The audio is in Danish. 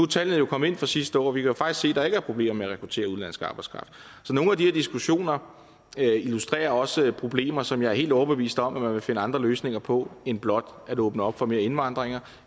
tallene jo kommet ind fra sidste år og vi kan faktisk se at der ikke er problemer med at rekruttere udenlandsk arbejdskraft så nogle af de der diskussioner illustrerer også problemer som jeg er helt overbevist om at man vil finde andre løsninger på end blot at åbne op for mere indvandring